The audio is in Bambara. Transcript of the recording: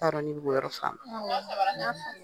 N t'a dɔn n'i bɛ k'o yɔrɔ faamu.